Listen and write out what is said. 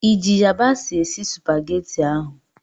ị ji yabasị esi Supagetii ahụ?